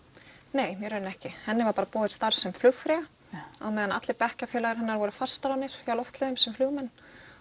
nei í rauninni ekki henni var bara boðið starf sem flugfreyja á meðan allir bekkjarfélagar hennar voru fastráðnir hjá Loftleiðum sem flugmenn